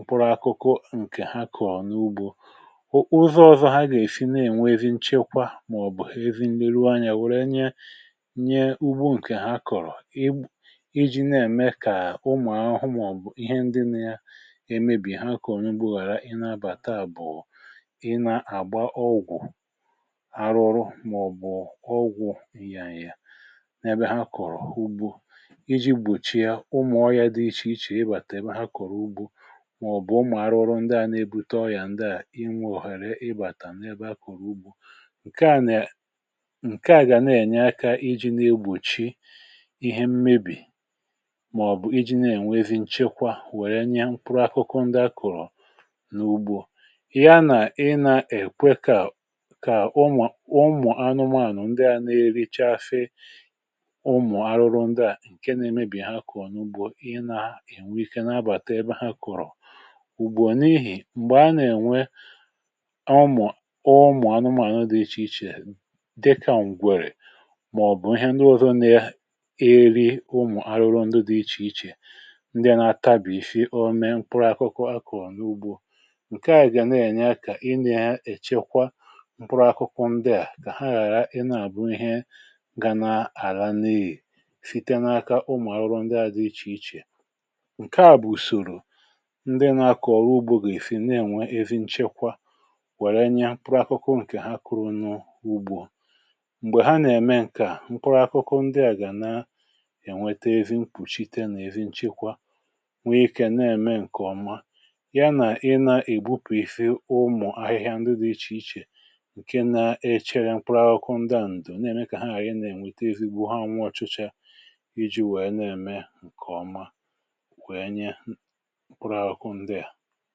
upụrụ akụkụ ǹkè ha kọ̀ọ n’ugbȯ ụzọ̇ ọzọ ha gà-èfii na-ènwe evi nchekwa màọbụ̀ evi nleruo anyȧ wère nye nye ugbo ǹkè ha kọ̀rọ̀ iji̇ um na-ème kà ụmụ̀ ahụ̀ hụ màọbụ̀ ihe ndị na-emebì ha kọ̀ọ n’ugbȯhàra ị na-abàta bụ̀ ị na-àgba ọgwụ̀ arụ̇ọ̇rụ̇ màọbụ̀ ọgwụ̀ ihe anyị ya n’ebe ha kọ̀rọ̀ ugbȯ mà ọ̀bụ̀ ụmụ̀ arụrụndị à na-ebu tọọ ya ndị à inwe òhèrè ị bàtà n’ebe akụ̀rụ̀ ugbȯ ǹke à nà ǹke à gà na-ènye akȧ iji na-egbòchi ihe mmebì mà ọ̀ bụ̀ iji na-ènwezi nchekwa wère nye mkpụrụ akụkụ ndị akụ̀rụ̀ n’ugbȯ ya nà ị nà-ekwekà kà ụmụ̀ anụmȧnụ̀ ndị à na-eri chafè ụmụ̀ arụrụndị à ǹke na-emebì ha kụ̀rụ̀ n’ugbȯ ùgbu n’ihì m̀gbè a nà-ènwe ọmụ̀ ọ ụmụ̀ anụmànụ dị ichè ichè dịkà ǹgwèrè màọ̀bụ̀ ihe nrịọ̇ nà-eri ụmụ̀ arụrụ ndị dị ichè ichè ndị na-atabì ife o mee mkpụrụ akụkụ akụ̀ n’ugbo ǹke à gà na-ènye akà ị nà-echekwa mkpụrụ akụkụ ndịà kà ha ghàra ịna bụ ihe ga na-àlanịị site n’aka ụmụ̀ arụrụ ndị à dị ichè ichè um ǹke à bụ̀ ùsòrò ndị na-akọ̀ọrụ ugbȯ gà-èfi na-ènwe ezi nchekwa wère nye pụrụ akụkụ ǹkè ha kụrụ̇ n’ugbȯ m̀gbè ha nà-ème ǹkè à mkpụrụ akụkụ ndị à gà na ènwete ezi mpụ̀chite nà-èzi nchekwa nwe ikė na-ème ǹkè ọma ya nà-ị nà-ègbupìfì ụmụ̀ ahịhịa ndị dị̇ ichè ichè ǹke na-echere mkpụrụ akụkụ ndị à ǹdè na-ème kà ha àrị na-ènwete ezigbo ha nwụ ọchụchȧ iji̇ wèe na-ème ǹkè ọma kwụrụ akụ ndià